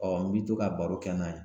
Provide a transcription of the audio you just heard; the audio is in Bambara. n bi to ka baro kɛ n'a ye .